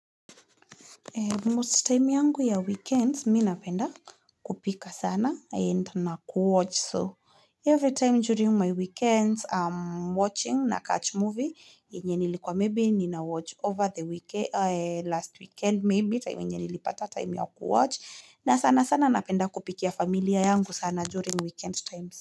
Most time yangu ya weekend mimi napenda kupika sana and na kuwatch. So, every time during my weekends, I'm watching nacatch movie. Yenye nilikuwa, maybe ninawatch over the weekend, last weekend, maybe. Time yenye nilipata time ya kuwatch. Na sana sana napenda kupikia familia yangu sana during weekend times.